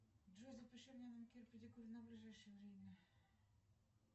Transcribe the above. джой запиши меня на маникюр и педикюр на ближайшее время